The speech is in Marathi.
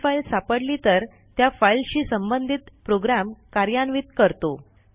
ती फाईल सापडली तर त्या फाईलशी संबंधित प्रोग्रॅम कार्यान्वित करतो